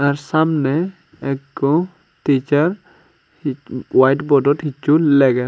tey samne ekko teacher hi white board dot hichu leger.